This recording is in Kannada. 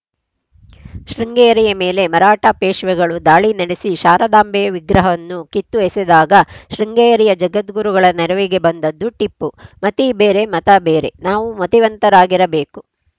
ಶೃಂಗೇರಿಯ ಮೇಲೆ ಮರಾಠ ಪೇಶ್ವೆಗಳು ದಾಳಿ ನಡೆಸಿ ಶಾರದಾಂಬೆಯ ವಿಗ್ರಹವನ್ನು ಕಿತ್ತು ಎಸೆದಾಗ ಶೃಂಗೇರಿಯ ಜಗದ್ಗುರುಗಳ ನೆರವಿಗೆ ಬಂದದ್ದು ಟಿಪ್ಪು ಮತಿ ಬೇರೆ ಮತ ಬೇರೆ ನಾವು ಮತಿವಂತರಾಗಿರಬೇಕು